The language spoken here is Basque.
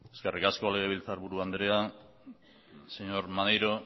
eskerrik asko legebiltzarburu andrea señor maneiro